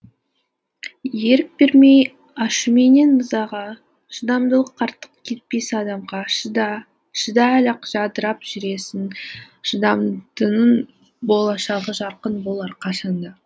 ерік бермей ашуменен ызаға шыдамдылық артық етпес адамға шыда шыда әлі ақ жадырап жүресің шыдамдының болашағы жарқын болар қашанда